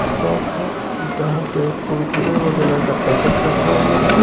Shop है जहां पे कुरकुड़े वगैरह का पैकेट रखा हुआ है।